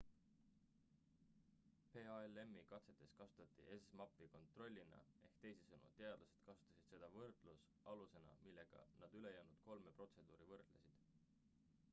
palm-i katses kasutati zmappi kontrollina ehk teisisõnu teadlased kasutasid seda võrdlusalusena millega nad ülejäänud kolme protseduuri võrdlesid